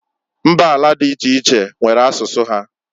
Mbala di iche iche, nwere asụsụ ha.